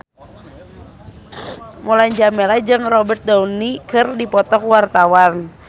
Mulan Jameela jeung Robert Downey keur dipoto ku wartawan